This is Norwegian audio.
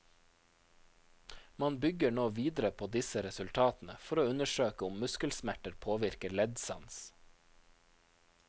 Man bygge nå videre på disse resultatene for å undersøke om muskelsmerter påvirker leddsans.